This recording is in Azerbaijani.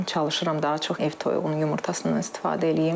Çalışıram daha çox ev toyuğunun yumurtasından istifadə eləyim.